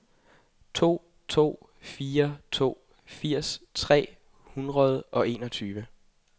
to to fire to firs tre hundrede og enogtredive